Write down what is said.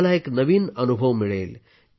तुम्हाला एक नवीन अनुभव मिळेल